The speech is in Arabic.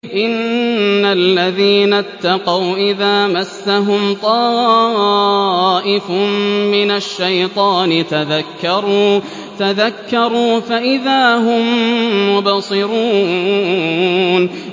إِنَّ الَّذِينَ اتَّقَوْا إِذَا مَسَّهُمْ طَائِفٌ مِّنَ الشَّيْطَانِ تَذَكَّرُوا فَإِذَا هُم مُّبْصِرُونَ